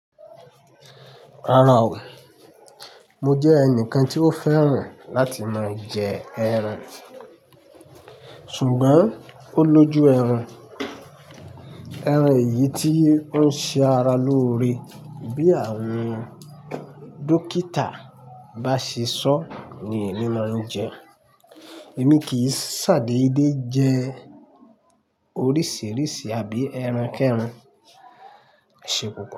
Rárá o, mo jẹ ẹnìkan tí ó fẹ́ràn láti máa jẹ ẹran, ṣùgbọ́n ó lójú ẹran. Ẹran eyìí tí ó ń ṣe ara lóore bí àwọn dókítà bá ṣe sọ ni èmi máa ń jẹ. Èmi kì í ṣàdéédé jẹ oríṣìíríṣìí abí ẹran kẹrun. Ṣé pupo?